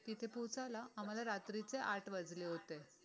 तिथे पोहोचायला आम्हाला रात्रीचे आठ वाजले होते